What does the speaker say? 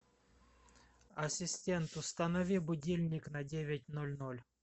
ассистент установи будильник на девять ноль ноль